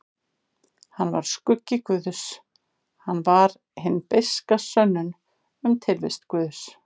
Hann var skuggi guðs, hann var hin beiska sönnun um tilvist guðs.